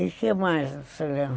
E o que mais, você lembra?